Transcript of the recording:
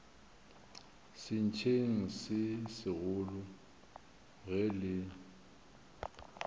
sentšeng se segolo ge le